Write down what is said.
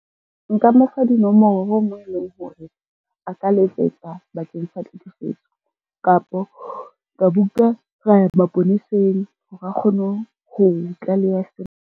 Nka mo fa dinomoro moo e leng hore, a ka letsetsa bakeng sa tlhekefetso, kapo ka mo nka ra ya maponeseng hore a kgone ho tlaleha sena.